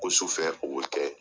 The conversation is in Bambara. Ko sufɛ o bɛ kɛ.